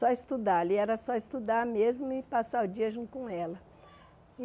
Só estudar, ali era só estudar mesmo e passar o dia junto com ela.